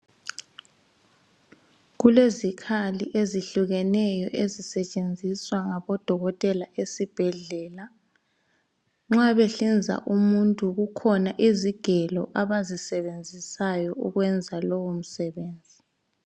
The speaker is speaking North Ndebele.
Kulezikhali ezihlukeneyo ezisetshenziswa ngabodokotela esibhedlela. Nxa behlinza umuntu kukhona izigelo abayisebenzisayo ukwenza lowo msebenzi.